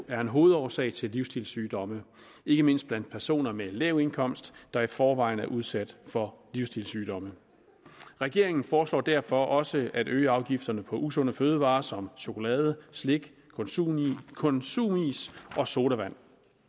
er en hovedårsag til livsstilssygdomme ikke mindst blandt personer med lav indkomst der i forvejen er udsat for livsstilssygdomme regeringen foreslår derfor også at øge afgifterne på usunde fødevarer som chokolade slik konsumis konsumis og sodavand